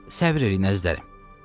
Səbr eləyin, əzizlərim.